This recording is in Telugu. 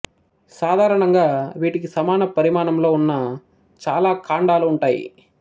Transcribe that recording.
సాధారణంగా వీటికి సమాన పరిమాణంలో ఉన్న చాలా కాండాలు ఉంటాయి